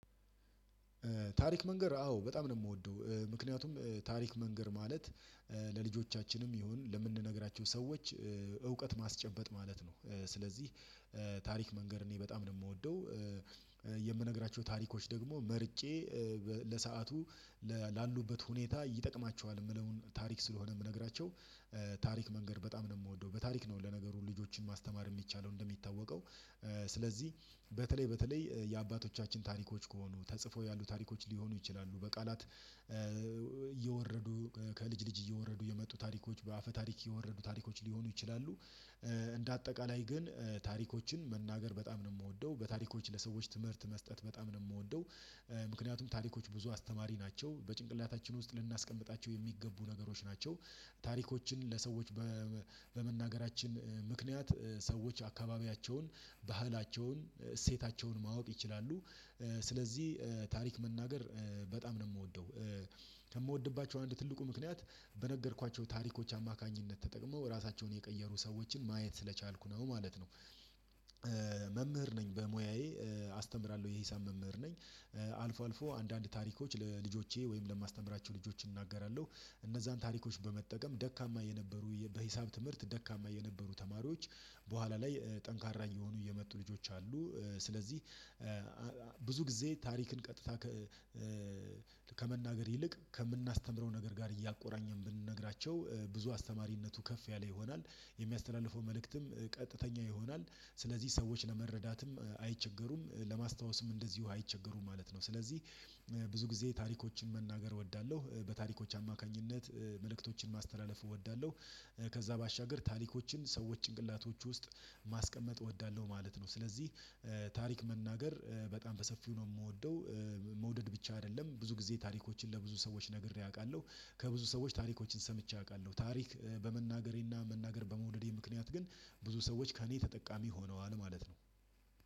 ታሪክ መንገር አዎ በጣም ነው የምወደው ምክንያቱም ታሪክ መንገር ማለት ለልጆቻችንም ይሁን ለምንነግራቸው ሰዎች እውቀት ማስጨበጥ ማለት ነው። ስለዚህ ታሪክ መንገር እኔ በጣም ነው የምወደው። የምነግራቸው ታሪኮች ደግሞ መርጬ ለሰአቱ ላሉበት ሁኔታ ይጠቅማችኋል የምለውን ታሪክ ስለሆነ የምነግራቸው። ታሪክ መንገድ በጣም ነው የምወደው በታሪክ ነው ለነገሩ ልጆችን ማስተማር የሚቻለው እንደሚታወቀው። ስለዚህ በተለይ በተለይ የአባቶቻችን ታሪኮች ከሆኑ ተጽፎ ያሉ ታሪኮች ሊሆኑ ይችላሉ በቃላት እየወረዱ ከልጅ ልጅ እየወረዱ የመጡ ታሪኮች በአፈ ታሪክ የወረዱ ታሪኮች ሊሆኑ ይችላሉ። እንደ አጠቃላይ ግን ታሪኮችን መናገር በጣም ነው የምወደው በታሪኮች ለሰዎች ትምህርት መስጠት በጣም ነው የምወደው። ምክንያቱም ታሪኮች ብዙ አስተማሪ ናቸው በጭንቅላታችን ውስጥ ልናስቀምጣቸው የሚገቡ ነገሮች ናቸው። ታሪኮችን ለሰዎች በመናገራችን ምክንያት ሰዎች አካባቢያቸውን ባህላቸውን እሴታቸውን ማወቅ ይችላሉ። ስለዚህ ታሪክ መናገር በጣም ነው የምወደው። ከምወድባቸው አንድ ትልቁ ምክንያት በነገርኳቸው ታሪኮች አማካኝነት ተጠቅመው ራሳቸውን የቀየሩ ሰዎችን ማየት ስለቻልኩ ነው ማለት ነው። መምህር ነኝ በሙያዬ አስተምራለሁ የሂሳብ መምህር ነኝ። አልፎ አልፎ አንዳንድ ታሪኮች ለልጆቼ ወይም ለማስተምራቸው ልጆች እናገራለሁ። እነዛን ታሪኮች በመጠቀም ደካማ የነበሩ በሂሳብ ትምህርት ደካማ የነበሩ ተማሪዎች በኋላ ላይ ጠንካራ እየሆኑ እየመጡ ልጆች አሉ። ስለዚህ ጊዜ ታሪክን ቀጥታ ከመናገር ይልቅ ከምናስተምረው ነገር ጋር እያቆራኘን ብንነግራቸው ብዙ አስተማሪነቱ ከፍ ያለ ይሆናል። የሚያስተላልፈው መልእክትም ቀጥተኛ ይሆናል። ስለዚህ ሰዎች ለመረዳትም አይቸገሩም ለማስታወስም እንደዚሁ አይቸገሩም ማለት ነው። ስለዚህ ብዙ ጊዜ ታሪኮችን መናገር እወዳለሁ በታሪኮች አማካኝነት መልእክቶችን ማስተላለፍ እወዳለሁ። ከዛ ባሻገር ታሪኮችን ሰዎች ጭንቅላቶች ውስጥ ማስቀመጥ እወዳለሁ ማለት ነው። ስለዚህ ታሪክ መናገር በጣም በሰፊው ነው የምወደው። መውደድ ብቻ አይደለም ብዙ ጊዜ ታሪኮችን ለብዙ ሰዎች ነግሬ አውቃለሁ። ከብዙ ሰዎች ታሪኮችን ሰምቼ አውቃለሁ ታሪክ በመናገሬና መናገር በመውደዴ ምክንያት ግን ብዙ ሰዎች ከእኔ ተጠቃሚ ሆነዋል ማለት ነው።